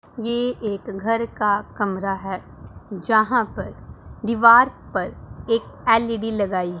ये एक घर का कमरा है जहां पर दीवार पर एक एलइडी लगाई--